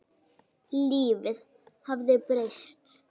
Lífið hafði breyst.